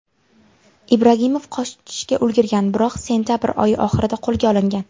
Ibragimov qochishga ulgurgan, biroq sentabr oyi oxirida qo‘lga olingan.